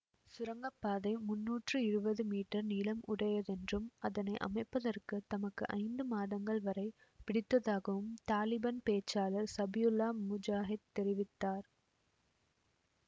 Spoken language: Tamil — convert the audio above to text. சுரங்க பாதை முன்னூற்றி இருவது மீட்டர் நீளம் உடையதென்றும் அதனை அமைப்பதற்குத் தமக்கு ஐந்து மாதங்கள் வரை பிடித்ததாகவும் தலிபான் பேச்சாளர் சபியுல்லா முஜாஹிட் தெரிவித்தார்